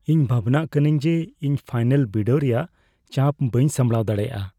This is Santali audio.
ᱤᱧ ᱵᱷᱟᱵᱽᱱᱟᱜ ᱠᱟᱹᱱᱟᱹᱧ ᱡᱮ ᱤᱧ ᱯᱷᱟᱭᱱᱟᱞ ᱵᱤᱰᱟᱹᱣ ᱨᱮᱭᱟᱜ ᱪᱟᱯ ᱵᱟᱹᱧ ᱥᱟᱢᱲᱟᱣ ᱫᱟᱲᱮᱭᱟᱜᱼᱟ ᱾